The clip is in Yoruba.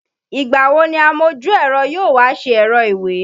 Ìgbà wo ni amojú-ẹ̀rọ yóò wá ṣe ẹ̀rọ ìwé?